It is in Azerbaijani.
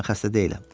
Mən xəstə deyiləm.